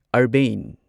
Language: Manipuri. ꯑꯔꯕꯦꯟ